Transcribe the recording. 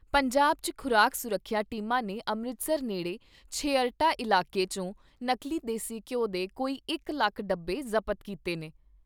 ਪੰਜਾਬ 'ਚ ਖ਼ੁਰਾਕ ਸੁਰੱਖਿਆ ਟੀਮਾਂ ਨੇ ਅੰਮ੍ਰਿਤਸਰ ਨੇੜੇ ਛੇਹਰਟਾ ਇਲਾਕੇ ' ਚੋਂ ਨਕਲੀ ਦੇਸੀ ਘਿਉ ਦੇ ਕੋਈ ਇਕ ਲੱਖ ਡੱਬੇ ਜ਼ਬਤ ਕੀਤੇ ਨੇ।